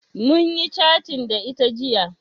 Munyi catin da ita jiya